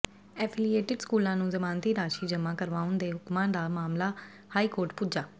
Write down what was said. affiliated ਸਕੂਲਾਂ ਨੂੰ ਜ਼ਮਾਨਤੀ ਰਾਸ਼ੀ ਜਮਾਂ ਕਰਵਾਉਣ ਦੇ ਹੁਕਮਾਂ ਦਾ ਮਾਮਲਾ ਹਾਈ ਕੋਰਟ ਪੁੱਜਾ